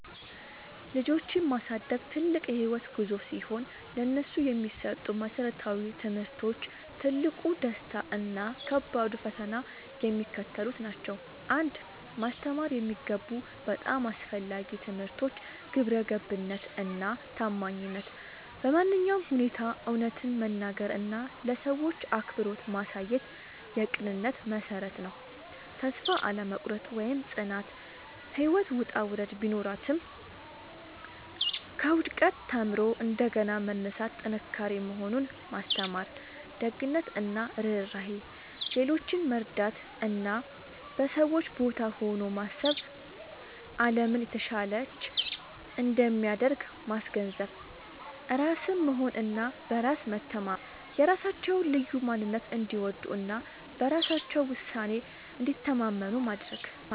ልጆችን ማሳደግ ትልቅ የህይወት ጉዞ ሲሆን፥ ለነሱ የሚሰጡ መሰረታዊ ትምህርቶች፣ ትልቁ ደስታ እና ከባዱ ፈተና የሚከተሉት ናቸው 1. ማስተማር የሚገቡ በጣም አስፈላጊ ትምህርቶች ግብረገብነት እና ታማኝነት በማንኛውም ሁኔታ እውነትን መናገር እና ለሰዎች አክብሮት ማሳየት የቅንነት መሠረት ነው። ተስፋ አለመቁረጥ (ጽናት)፦ ህይወት ውጣ ውረድ ቢኖራትም፣ ከውድቀት ተምሮ እንደገና መነሳት ጥንካሬ መሆኑን ማስተማር። ደግነት እና ርህራሄ፦ ሌሎችን መርዳት እና በሰዎች ቦታ ሆኖ ማሰብ አለምን የተሻለች እንደሚያደርግ ማስገንዘብ። ራስን መሆን እና በራስ መተማመን፦ የራሳቸውን ልዩ ማንነት እንዲወዱ እና በራሳቸው ውሳኔ እንዲተማመኑ ማድረግ።